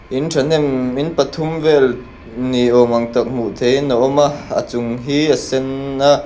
in thahnem in pathum vel nei awm ang tak hmuh theih in a awm a a chung hi a sen a.